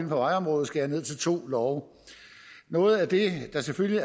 for vejområdet skærer ned til to love noget af det der selvfølgelig